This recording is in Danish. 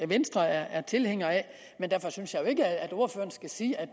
venstre er tilhængere af men derfor synes jeg jo ikke at ordføreren skal sige at